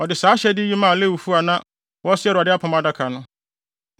ɔde saa ahyɛde yi maa Lewifo a na wɔsoa Awurade apam adaka no: